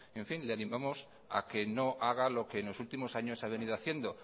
le animamos a que no haga lo que en los últimos años ha venido haciendo